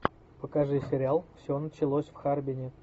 покажи сериал все началось в харбине